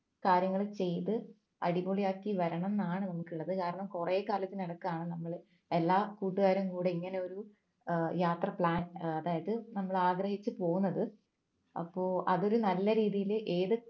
കാര്യങ്ങൾ ചെയ്തു അടിപൊളിയാക്കി വരണം ന്നാണ് നമുക്കുള്ളത് കാരണം കുറെ കാലത്തിനടുക്കാണ് നമ്മളെ എല്ലാ കൂട്ടുകാരും കൂടെ ഇങ്ങനെ ഒരു ഏർ യാത്ര plan അതായതു നമ്മൾ ആഗ്രഹിച്ചു പോന്നത് അപ്പോൾ അതൊരു നല്ല രീതിയിൽ ഏത്